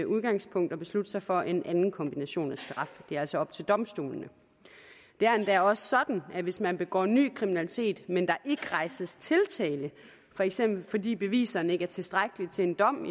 udgangspunkt og beslutte sig for en anden kombination af straf det er altså op til domstolene det er endda også sådan at hvis man begår ny kriminalitet men der ikke rejses tiltale for eksempel fordi beviserne ikke er tilstrækkelige til en dom